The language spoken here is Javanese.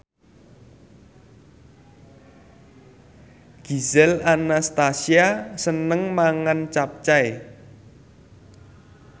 Gisel Anastasia seneng mangan capcay